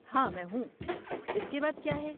ہاں میں ہوں۔ اس کے بعد کیا ہے؟